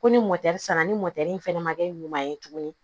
Ko ni sanna ni mɔtɛri fɛnɛ ma kɛ ɲuman ye tuguni